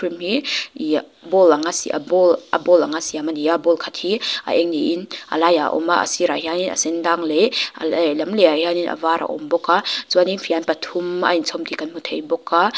cream hi ih bowl anga sia a bowl anga siam ani a bowl khat hi a eng niin a laiah a awm a a sirah hian a sen dang leh a lehlam lehah hian a var a awm bawk a chuanin fian pathum a inchawm hi kan hmu thei bawk a--